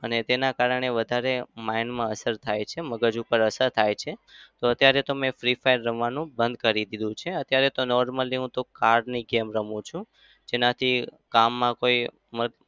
તેના કારણે વધારે mind માં અસર થાય છે. મગજ ઉપર અસર થાય છે. તો અત્યારે તો મેં free fire રમવાનું બંધ કરી દીધું છે. અત્યારે normally હું તો car ની game રમું છું. જેનાથી કામમાં કોઈ